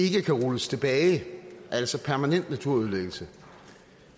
kan rulles tilbage altså permanent naturødelæggelse og